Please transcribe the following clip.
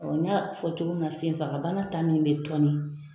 n y'a fɔ cogo min na senfagabana ta min bɛ tɔni